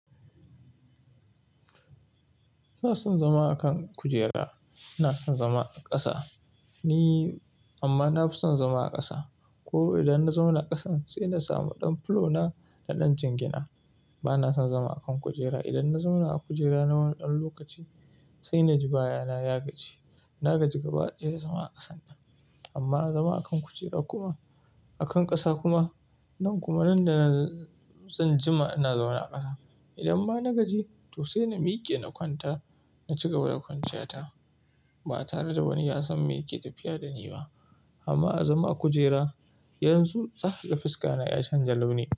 Ina son zama a kan kujera, ina son zama a ƙasa. Ni amma na fi son zama a ƙasa ko idan na zauna a ƙasan sai na samu ɗan fulo na na ɗan jingina. Ba na son zama a kan kujera. Idan na zauna a kujera na wani ɗan lokaci sai na ji baya na ya gaji. Na gaji gabaɗaya zama a ƙasan nan amma a zama a kan kujera kuma a kan ƙasa kuma. Nan kuma nan da zan jima ina zauna a ƙasa. Idan ma na gaji to sai na miƙe na kwanta na ci gaba da kwanciya ta ba tare da wani ya san me yake tafiya da ni ba. Amma a zama a kujera yanzu zaka ga fiska na ya canja launi.